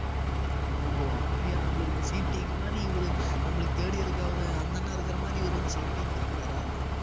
ஓஹோ அப்படியா நம்மளுக்கு இந்த மாதிரி இவரு நம்மளுக்கு third year க்கு அவரு அந்த அண்ணா இருக்கிற மாதிரி இவரு வந்து second year க்கு இருக்கிறாரா